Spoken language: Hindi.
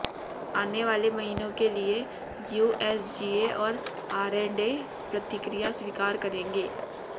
आने वाले महीनों के लिए यूएसजीए और आरएंडए प्रतिक्रिया स्वीकार करेंगे